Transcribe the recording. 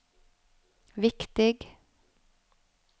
viktig